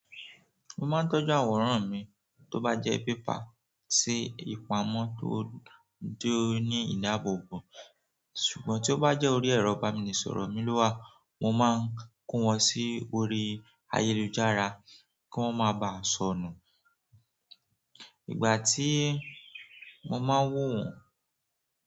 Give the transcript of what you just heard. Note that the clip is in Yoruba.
Mo máa ń tọ́jú àwòrán mi tó bá jẹ́ paper sí ìpamọ́ tó dúró ní ìdáàbòbò. Ṣùgbọ́n tí ó bá jẹ́ orí ẹ̀rọ ibamínisọ̀rọ̀ mi lò wá, mo máa ń kó wọn sí orí ayélujára kí wọ́n máa ba sọnù. Ìgbà tí mo máa ń wò wọ́n.